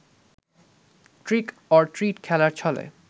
trick or treat খেলার ছলে